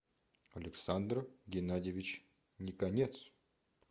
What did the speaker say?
александр геннадьевич никонец